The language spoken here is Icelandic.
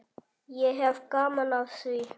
Ég hef gaman af því.